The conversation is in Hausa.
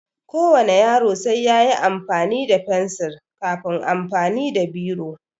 Ko wane yaro sai yayi amfani da fensil kafin amfani da biro